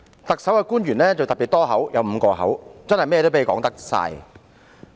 特區的官員特別"多口"，共有5個口，真的是凡事他們說了算。